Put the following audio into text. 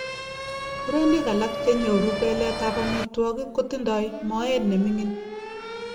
murenik alak chenyoru pelet ap ametwogik kotindoi moet nemingin